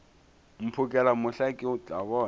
mphokela mohla ke tla bona